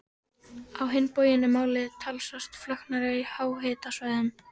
Á hinn bóginn er málið talsvert flóknara á háhitasvæðum.